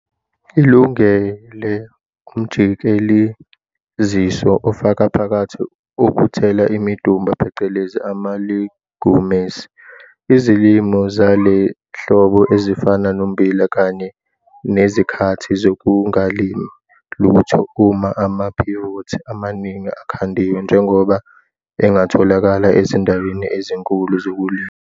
Ilungele umjikeleziso ofaka phakathi okuthela imidumba phecelezi ama-legumes, izilimo zasehlobo ezifana nommbila kanye nezikhathi zokungalimi lutho uma ama-pivots amaningi akhandiwe njengoba engatholakala ezindaweni ezinkulu zokulima.